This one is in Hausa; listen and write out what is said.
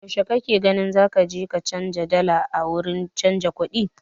Yaushe kake gani zaka je ka canja dala a wurin canja kuɗi?